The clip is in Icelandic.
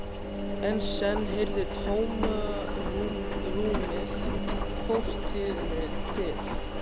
En senn heyrði tómarúmið fortíðinni til.